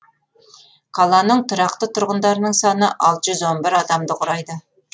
қаланың тұрақты тұрғындарының саны алты жүз он бір адамды құрайды